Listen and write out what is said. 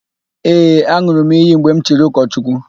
Ee, an̄ụrụ m iyi mgbe m chiri ụkọchukwu.